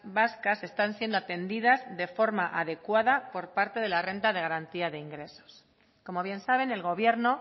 vascas están siendo atendidas de forma adecuada por parte de la renta de garantía de ingresos como bien saben el gobierno